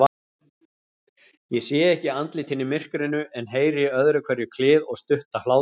Ég sé ekki andlitin í myrkrinu, en heyri öðruhverju klið og stutta hlátra.